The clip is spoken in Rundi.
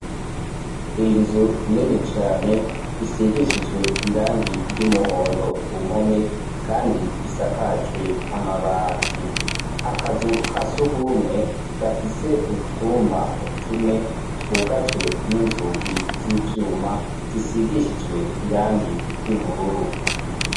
Inzu nini cane isigishijwe irangi ry'umuhondo ku mpome, kandi isakajwe amabati. Akazu ka surwumwe gafise utwumba tune twugajwe n'inzugi z'ivyuma zisigishijwe irangi ry'ubururu.